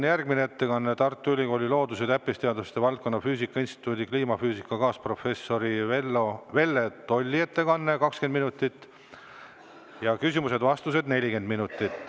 Pärast teda on Tartu Ülikooli loodus- ja täppisteaduste valdkonna füüsika instituudi kliimafüüsika kaasprofessori Velle Tolli 20‑minutiline ettekanne ja küsimusteks-vastusteks on 40 minutit.